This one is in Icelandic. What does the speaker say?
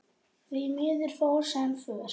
Því miður fór sem fór.